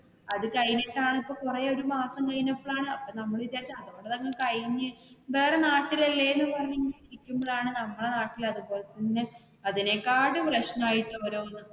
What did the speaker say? അത് കഴിഞ്ഞിട്ട് ആണ് ഇപ്പൊ കൊറേ ഒരു മാസം കഴിഞ്ഞപ്പോൾ ആണ് അപ്പൊ നമ്മള് വിചാരിച്ച് അതൊക്കെ അങ്ങ് കഴിഞ്ഞ് വേറെ നാട്ടിൽ അല്ലെ എന്ന് പറഞ്ഞ് ഇങ്ങനെ ഇരിക്കുമ്പോഴാണ് നമ്മടെ നാട്ടില് അതുപോലെ തന്നെ അതിനേക്കാട്ടും പ്രെശ്നം ആയിട്ട് ഉള്ള ഓരോന്ന്.